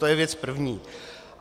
To je věc první.